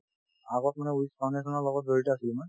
আগত মানে foundation ৰ লগত জড়িত আছিলো মই